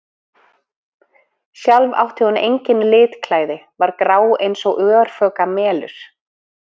Sjálf átti hún engin litklæði, var grá eins og örfoka melur.